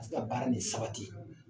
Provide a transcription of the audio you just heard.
A bɛ se ka baara nin sabati